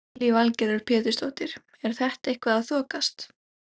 Lillý Valgerður Pétursdóttir: Er þetta eitthvað að þokast?